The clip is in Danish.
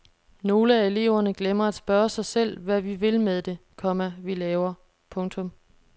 Nogle af eleverne glemmer at spørge sig selv hvad vi vil med det, komma vi laver. punktum